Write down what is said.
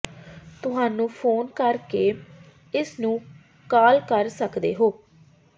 ਤੁਹਾਨੂੰ ਫ਼ੋਨ ਕਰ ਕੇ ਇਸ ਨੂੰ ਕਾਲ ਕਰ ਸਕਦੇ ਹੋ